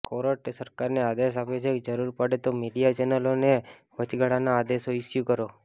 કોર્ટે સરકારને આદેશ આપ્યો છે કે જરૂર પડે તો મિડિયા ચેનલોને વચગાળાના આદેશો ઈસ્યૂ કરો